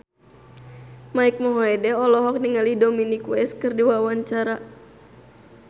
Mike Mohede olohok ningali Dominic West keur diwawancara